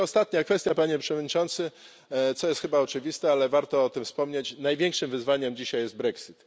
I ostatnia kwestia, Panie Przewodniczący, co jest chyba oczywiste, ale warto o tym wspomnieć, największym wyzwaniem dzisiaj jest brexit.